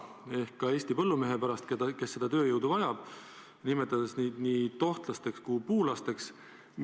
Ta ei vala pisaraid Eesti põllumeeste pärast, kes seda tööjõudu vajavad, ja nimetab neid puulasteks ja tohtlasteks.